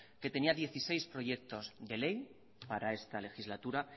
que tenía dieciséis proyectos de ley para esta legislatura